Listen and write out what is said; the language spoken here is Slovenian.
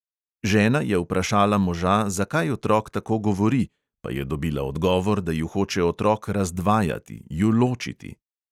Žena je vprašala moža, zakaj otrok tako govori, pa je dobila odgovor, da ju hoče otrok razdvajati, ju ločiti.